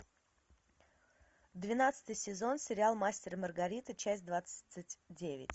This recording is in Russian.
двенадцатый сезон сериал мастер и маргарита часть двадцать девять